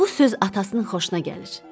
Bu söz atasının xoşuna gəlir.